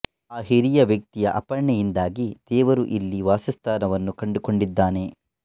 ಆ ಹಿರಿಯ ವ್ಯಕ್ತಿಯ ಅರ್ಪಣೆಯಿಂದಾಗಿ ದೇವರು ಇಲ್ಲಿ ವಾಸಸ್ಥಾನವನ್ನು ಕಂಡುಕೊಂಡಿದ್ದಾನೆ